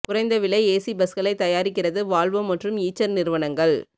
குறைந்த விலை ஏசி பஸ்களை தயாரிக்கிறது வால்வோ மற்றும் ஈச்சர் நிறுவனங்கள்